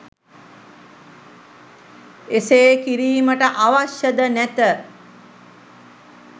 එසේ කිරීමට අවශ්‍ය ද නැත